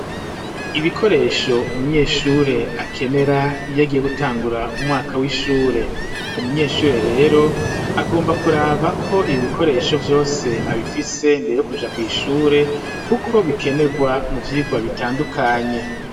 Ibikoresho umunyeshure akenera iyo agiye gutangura umwaka w'ishure. Umunyeshure rero agomba kuraba ko ibikoresho vyose abifise imbere yo kuja kw'ishure, kuko bikenegwa mu vyigwa bitandukanye.